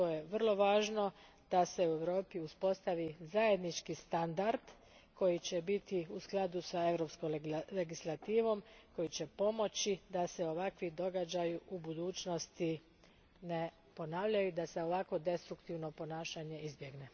Vrlo je važno da se u Europi uspostavi zajednički standard koji će biti u skladu s Europskom legislativom i koji će pomoći da se ovakvi događaji u budućnosti ne ponavljaju i da se ovakvo destruktivno ponašanje izbjegne.